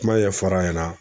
Kuma ɲɛfɔra a ɲɛna